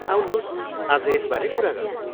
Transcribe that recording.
आउनुहोस् आज यसबारे कुरा गरौँ।